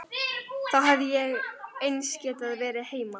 Þá hefði ég eins getað verið heima.